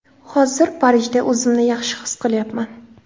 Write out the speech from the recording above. Hozir Parijda o‘zimni yaxshi his qilyapman.